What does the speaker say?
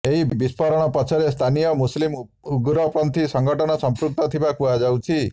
ଏହି ବିସ୍ଫୋରଣ ପଛରେ ସ୍ଥାନୀୟ ମୁସଲିମ ଉଗ୍ରପନ୍ଥୀ ସଂଗଠନ ସଂପୃକ୍ତ ଥିବା କୁହାଯାଉଛି